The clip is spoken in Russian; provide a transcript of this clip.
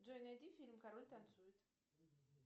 джой найди фильм король танцует